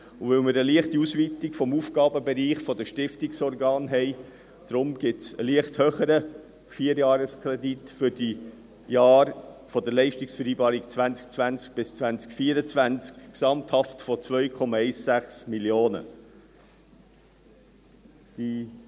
Weil wir eine leichte Ausweitung des Aufgabenbereichs der Stiftungsorgane haben, gibt es einen leicht höheren Vierjahreskredit für die Jahre der Leistungsvereinbarung 2020–2024 von gesamthaft 2,16 Mio. Franken.